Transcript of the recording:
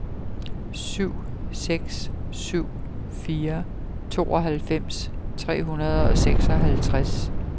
syv seks syv fire tooghalvfems tre hundrede og seksoghalvtreds